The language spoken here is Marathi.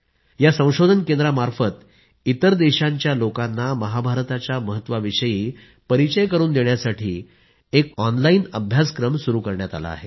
या संशोधन केंद्रामार्फत इतर देशांच्या लोकांना महाभारताच्या महत्वाविषयी परिचय करून देण्यासाठी ऑनलाइन अभ्यासक्रम सुरू केला आहे